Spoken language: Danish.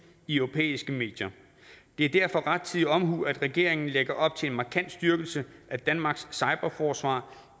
i europæiske medier det er derfor rettidig omhu at regeringen lægger op til en markant styrkelse af danmarks cyberforsvar